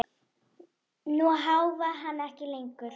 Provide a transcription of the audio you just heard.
Nú háfar hann ekki lengur.